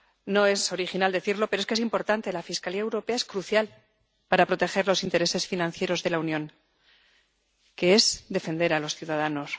No es original decirlo, pero es importante la Fiscalía Europea es crucial para proteger los intereses financieros de la Unión, que es defender a los ciudadanos.